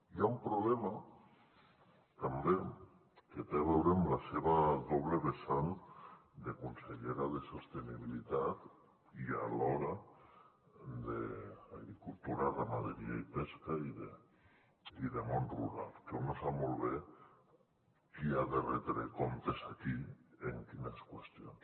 hi ha un problema també que té a veure amb la seva doble vessant de consellera de sostenibilitat i alhora d’agricultura ramaderia i pesca i de món rural que un no sap molt bé qui ha de retre comptes aquí en quines qüestions